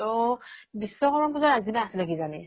তো বিশ্বকৰ্মা পুজাৰ আগ্দিনা আছিলে কিজানি